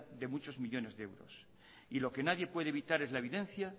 de muchos millónes de euros y lo que nadie puede evitar es la evidencia